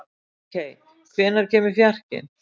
Ríkey, hvenær kemur fjarkinn?